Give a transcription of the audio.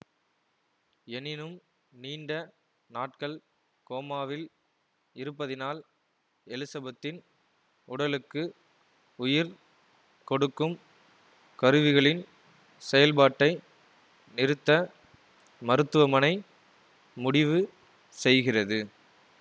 எனினும் நீண்ட நாட்கள் கோமாவில் இருப்பதினால் எலிசபத்தின் உடலுக்கு உயிர் கொடுக்கும் கருவிகளின் செயல்பாட்டை நிறுத்த மருத்துவமனை முடிவு செய்கிறது